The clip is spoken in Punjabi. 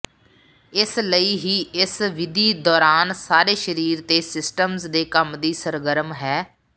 ਇਸ ਲਈ ਹੀ ਇਸ ਵਿਧੀ ਦੌਰਾਨ ਸਾਰੇ ਸ਼ਰੀਰ ਅਤੇ ਸਿਸਟਮ ਦੇ ਕੰਮ ਦੀ ਸਰਗਰਮ ਹੈ